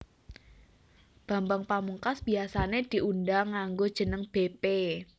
Bambang Pamungkas biasané diundang nganggo jeneng bépé